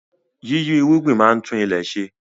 Yíyí irúgbìn máa ń tún ilẹ̀ ṣe